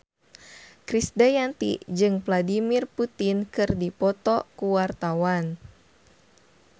Krisdayanti jeung Vladimir Putin keur dipoto ku wartawan